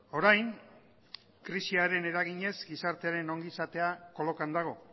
orain krisiaren eraginez gizartearen ongizatea kolokan dago